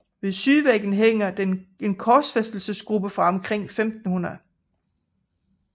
Ved sydvæggen hænger en korsfæstelsesgruppe fra omkring 1500